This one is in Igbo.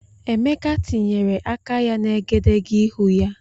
Emeka tinyere aka ya na egedegeihū ya.